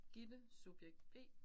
Gitte subjekt B